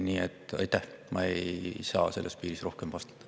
Nii et ma ei saa selle piires teile rohkem vastata.